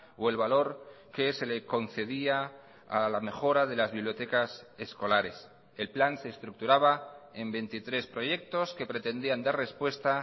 o el valor que se le concedía a la mejora de las bibliotecas escolares el plan se estructuraba en veintitrés proyectos que pretendían dar respuesta